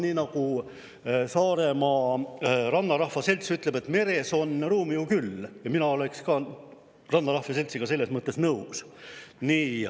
Nii nagu Saare Rannarahva Selts ütleb, meres on ruumi ju küll, ja mina olen rannarahva seltsiga selles mõttes nõus.